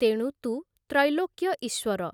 ତେଣୁ ତୁ ତ୍ରୈଲୋକ୍ୟଈଶ୍ୱର ।